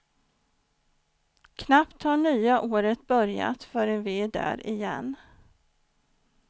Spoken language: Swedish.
Knappt har nya året börjat förrän vi är där igen.